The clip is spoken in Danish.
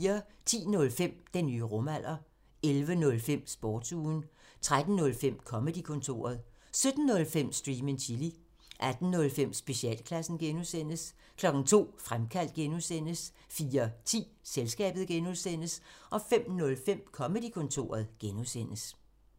10:05: Den nye rumalder 11:05: Sportsugen 13:05: Comedy-kontoret 17:05: Stream and chill 18:05: Specialklassen (G) 02:00: Fremkaldt (G) 04:10: Selskabet (G) 05:05: Comedy-kontoret (G)